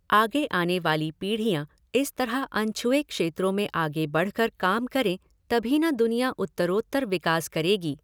आगे आने वाली पीढियाँ इस तरह अनछुए क्षेत्रों में आगे बढक़र काम करें तभी न दुनिया उत्तरोत्तर विकास करेगी?